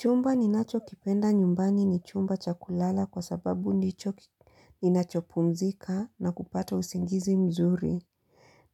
Chumba ninacho kipenda nyumbani ni chumba cha kulala kwa sababu ndicho ninachopumzika na kupata usingizi mzuri.